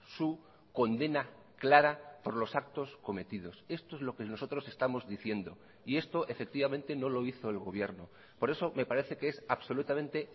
su condena clara por los actos cometidos esto es lo que nosotros estamos diciendo y esto efectivamente no lo hizo el gobierno por eso me parece que es absolutamente